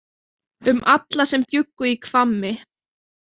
Um alla sem bjuggu í Hvammi.